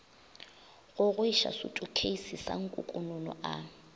gogoiša sutukheisi sa nkukununu a